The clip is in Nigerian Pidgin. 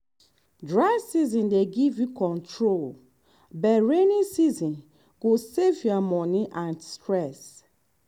dry season dey give you control but rainy season go save your money and stress.